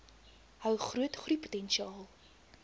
hou groot groeipotensiaal